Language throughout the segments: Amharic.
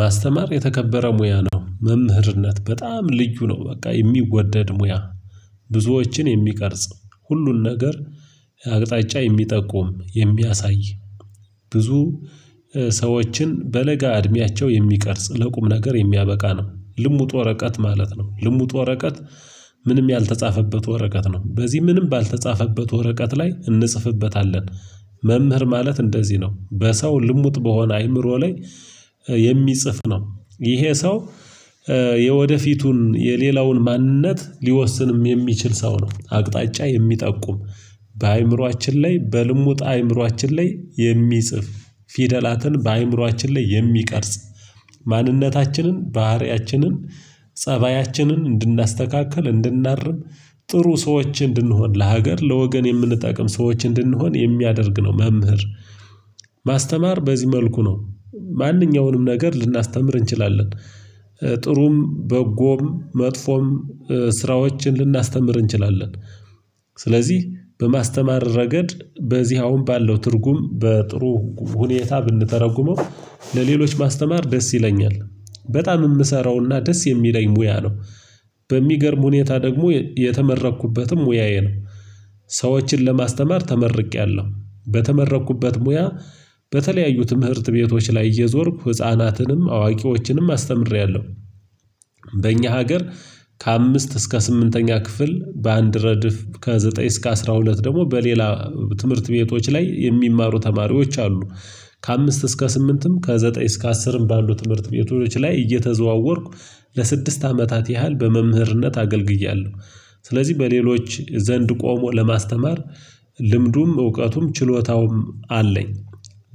ማስተማር የተከበረ ሙያ ነው መምህርነት በጣም ልዩ ነው። በቃ የሚወደድ ሙያ ብዙዎችን የሚቀርጽ ሁሉን ነገር አቅጣጫ የሚጠቁም የሚያሳይ። ብዙ ሰዎችን በለጋ እድሜያቸው የሚቀርጽ ለቁም ነገር የሚያበቃ ነው። ልሙጥ ወረቀት ማለት ነው። ልሙጥ ወረቀት ምንም ያልተጻፈበት ወረቀት ነው። በዚህ ምንም ባልተጻፈበት ወረቀት ላይ እንጽፍበታለን። መምህር ማለት እንደዚህ ነው። በሰው ልሙጥ በሆነ አይምሮ ላይ የሚጽፍ ነው። ይሄ ሰው። የወደፊቱን የሌላውን ማንነት ሊወስንም የሚችል ሰው ነው። አቅጣጫ የሚጠቁም በአእምሮአችን ላይ በልሙጥ አእምሮአችን ላይ የሚጽፍ ፊደላትን በአእምሮአችን ላይ የሚቀርጽ። ማንነታችንን ባህሪያችንን ፀባያችንን እንድናስተካክል እንድናርም ጥሩ ሰዎች እንድንሆን ለሀገር ለወገን የምንጠቅም ሰዎች እንድንሆን የሚያደርግ ነው። መምህር ማስተማር በዚህ መልኩ ነው። ማንኛውንም ነገር ልናስተምር እንችላለን። ጥሩም በጎም መጥፎም ስራዎችን ልናስተምር እንችላለን። ስለዚህ በማስተማር ረገድ በዚህ አሁን ባለው ትርጉም በጥሩ ሁኔታ ብንተረጉመው። ለሌሎች ማስተማር ደስ ይለኛል። በጣም የምሰራውና ደስ የሚለኝ ሙያ ነው። በሚገርም ሁኔታ ደግሞ የተመረኩበትም ሙያዬ ነው። ሰዎችን ለማስተማር ተመርቄያለሁ በተመረኩበት ሙያ በተለያዩ ትምህርት ቤቶች ላይ እየዞርኩ ህፃናትንም አዋቂዎችንም አስተምሬያለሁ። በእኛ ሀገር ከአምስት እስከ ስምንተኛ ክፍል በአንድ ረድፍ ከዘጠኝ እስከ አስራ ሁለት ደግሞ በሌላ ትምህርት ቤቶች ላይ የሚማሩ ተማሪዎች አሉ። ከአምስት እስከ ስምንትም ከዘጠኝ እስከ አስርም ባሉ ትምህርት ቤቶች ላይ እየተዘዋወርኩ ለስድስት አመታት ያህል በመምህርነት አገልግያለሁ። ስለዚህ በሌሎች ዘንድ ቆሞ ለማስተማር ልምዱም እውቀቱም ችሎታውም አለኝ።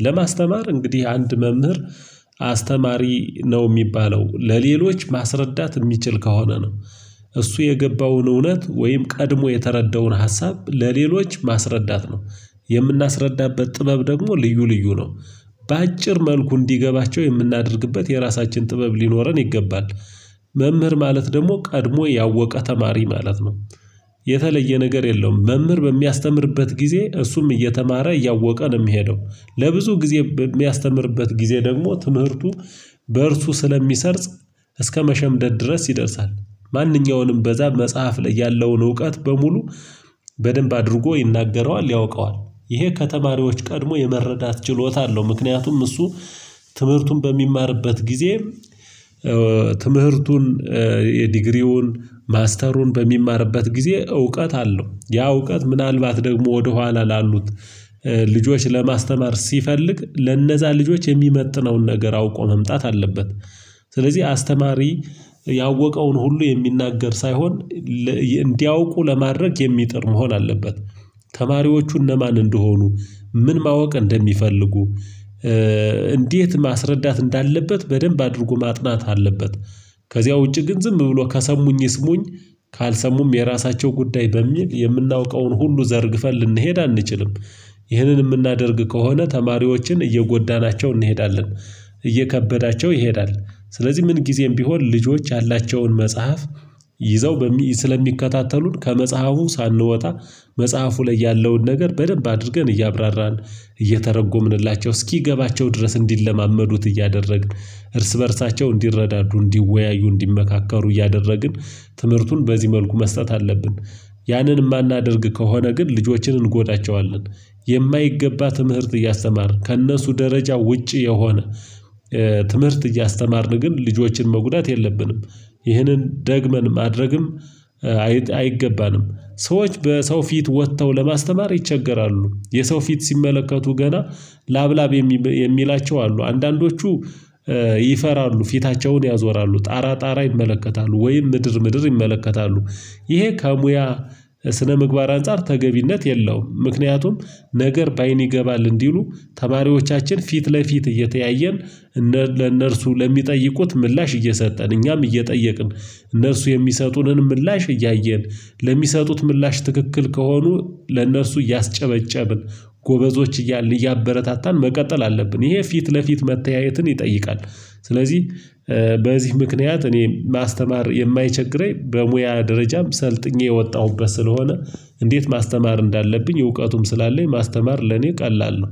ለማስተማር እንግዲህ አንድ መምህር አስተማሪ ነው የሚባለው ለሌሎች ማስረዳት የሚችል ከሆነ ነው። እሱ የገባውን እውነት ወይም ቀድሞ የተረዳውን ሀሳብ ለሌሎች ማስረዳት ነው። የምናስረዳበት ጥበብ ደግሞ ልዩ ልዩ ነው። በአጭር መልኩ እንዲገባቸው የምናደርግበት የራሳችን ጥበብ ሊኖረን ይገባል። መምህር ማለት ደግሞ ቀድሞ ያወቀ ተማሪ ማለት ነው። የተለየ ነገር የለውም። መምህር በሚያስተምርበት ጊዜ እሱም እየተማረ እያወቀ ነው የሚሄደው ለብዙ ጊዜ በሚያስተምርበት ጊዜ ደግሞ ትምህርቱ በእርሱ ስለሚሰርጽ። እስከመሸምደድ ድረስ ይደርሳል። ማንኛውንም በዛ መጽሐፍ ላይ ያለውን እውቀት በሙሉ በደንብ አድርጎ ይናገረዋል ያውቀዋል ይሄ ከተማሪዎች ቀድሞ የመረዳት ችሎታ አለው። ምክንያቱም እሱ ትምህርቱን በሚማርበት ጊዜ ትምህርቱን የዲግሪውን ማስተሩን በሚማርበት ጊዜ እውቀት አለው ያ እውቀት ምናልባት ደግሞ ወደኋላ ላሉት ልጆች ለማስተማር ሲፈልግ ለነዛ ልጆች የሚመጥነውን ነገር አውቆ መምጣት አለበት። ስለዚህ አስተማሪ ያወቀውን ሁሉ የሚናገር ሳይሆን እንዲያውቁ ለማድረግ የሚጥር መሆን አለበት። ተማሪዎቹ እነማን እንደሆኑ ምን ማወቅ እንደሚፈልጉ እንዴት ማስረዳት እንዳለበት በደንብ አድርጎ ማጥናት አለበት። ከዚያ ውጪ ግን ዝም ብሎ ከሰሙኝ ይስሙኝ። ካልሰሙም የራሳቸው ጉዳይ በሚል የምናውቀውን ሁሉ ዘርግፈን ልንሄድ አንችልም። ይህንን የምናደርግ ከሆነ ተማሪዎችን እየጎዳናቸው እንሄዳለን። እየከበዳቸው ይሄዳል። ስለዚህ ምን ጊዜም ቢሆን ልጆች ያላቸውን መጽሐፍ ይዘው በሚ ስለሚከታተሉን ከመጽሐፉ ሳንወጣ መጽሐፉ ላይ ያለውን ነገር በደንብ አድርገን እያብራራን እየተረጎምንላቸው እስኪገባቸው ድረስ እንዲለማመዱት እያደረግን እርስ በእርሳቸው እንዲረዳዱ እንዲወያዩ እንዲመካከሩ እያደረግን ትምህርቱን በዚህ መልኩ መስጠት አለብን። ያንን የማናደርግ ከሆነ ግን ልጆችን እንጎዳቸዋለን። የማይገባ ትምህርት እያስተማርን ከእነሱ ደረጃ ውጪ የሆነ ትምህርት እያስተማርን ግን ልጆችን መጉዳት የለብንም። ይህንን ደግመን ማድረግም አይገባንም። ሰዎች በሰው ፊት ወጥተው ለማስተማር ይቸገራሉ የሰው ፊት ሲመለከቱ ገና ላብላብ የሚላቸው አሉ አንዳንዶቹ። ይፈራሉ ፊታቸውን ያዞራሉ ጣራ ጣራ ይመለከታሉ ወይም ምድር ምድር ይመለከታሉ። ይሄ ከሙያ ስነምግባር አንፃር ተገቢነት የለውም። ምክንያቱም ነገር በአይን ይገባል እንዲሉ ተማሪዎቻችን ፊት ለፊት እየተያየን እነር ለእነርሱ ለሚጠይቁት ምላሽ እየሰጠን እኛም እየጠየቅን እነርሱ የሚሰጡንን ምላሽ እያየን ለሚሰጡት ምላሽ ትክክል ከሆኑ ለእነርሱ እያስጨበጨብን ጎበዞች እያል እያበረታታን መቀጠል አለብን ይሄ ፊት ለፊት መተያየትን ይጠይቃል። ስለዚህ በዚህ ምክንያት እኔ ማስተማር የማይቸግረኝ በሙያ ደረጃም ሰልጥኜ የወጣሁበት ስለሆነ እንዴት ማስተማር እንዳለብኝ እውቀቱም ስላለኝ ማስተማር ለኔ ቀላል ነው